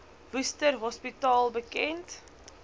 worcester hospitaal bekend